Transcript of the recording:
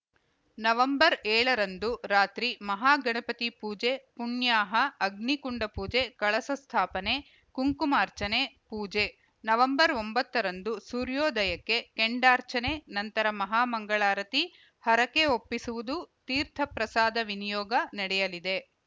November ಏಳರಂದು ರಾತ್ರಿ ಮಹಾಗಣಪತಿ ಪೂಜೆ ಪುಣ್ಯಾಹ ಅಗ್ನಿಕುಂಡ ಪೂಜೆ ಕಳಸ ಸ್ಥಾಪನೆ ಕುಂಕುಮಾರ್ಚನೆ ಪೂಜೆ ನವೆಂಬರ್ ಒಂಬತ್ತರಂದು ಸೂರ್ಯೋದಯಕ್ಕೆ ಕೆಂಡರ್ಚಾನೆ ನಂತರ ಮಹಾಮಂಗಳಾರತಿ ಹರಕೆ ಒಪ್ಪಿಸುವುದು ತೀರ್ಥಪ್ರಸಾದ ವಿನಿಯೋಗ ನಡೆಯಲಿದೆ